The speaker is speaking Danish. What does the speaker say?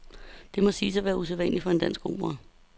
Det må siges at være usædvanligt for en dansk opera.